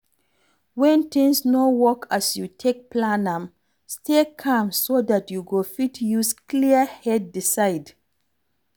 When things no work as you take plan am, stay calm so dat you go fit use clear head decide